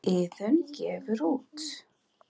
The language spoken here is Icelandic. Iðunn gefur út.